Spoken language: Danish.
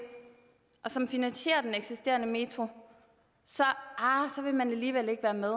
og som finansierer den eksisterende metro så arh så vil man alligevel ikke være med